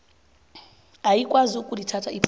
ayikwazi ukulithatha iphuzu